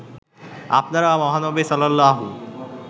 আপনারা মহানবী সাল্লাল্লাহু